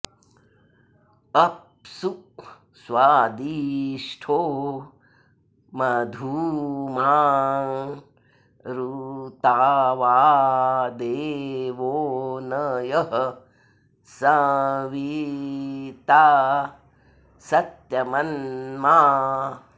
अ॒प्सु स्वादि॑ष्ठो॒ मधु॑माँ ऋ॒तावा॑ दे॒वो न यः स॑वि॒ता स॒त्यम॑न्मा